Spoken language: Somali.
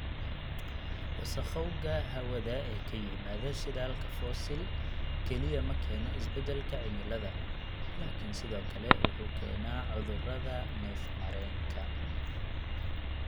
Wasakhowga hawada ee ka yimaada shidaalka fosil kaliya ma keeno isbeddelka cimilada laakiin sidoo kale wuxuu keenaa cudurrada neef-mareenka.